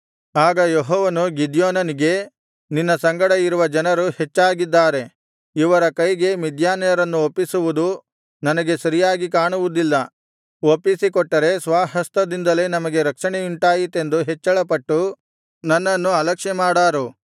ಆಗ ಯೆಹೋವನು ಗಿದ್ಯೋನನಿಗೆ ನಿನ್ನ ಸಂಗಡ ಇರುವ ಜನರು ಹೆಚ್ಚಾಗಿದ್ದಾರೆ ಇವರ ಕೈಗೆ ಮಿದ್ಯಾನ್ಯರನ್ನು ಒಪ್ಪಿಸುವುದು ನನಗೆ ಸರಿಯಾಗಿ ಕಾಣುವುದಿಲ್ಲ ಒಪ್ಪಿಸಿಕೊಟ್ಟರೆ ಸ್ವಹಸ್ತದಿಂದಲೇ ನಮಗೆ ರಕ್ಷಣೆಯುಂಟಾಯಿತೆಂದು ಹೆಚ್ಚಳಪಟ್ಟು ನನ್ನನ್ನು ಅಲಕ್ಷ್ಯಮಾಡಾರು